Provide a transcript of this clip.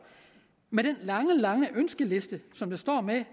med den lange lange ønskeliste som jeg står med